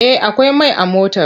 Eh akwai mai a motar!